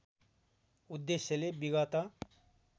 उद्देश्यले विगत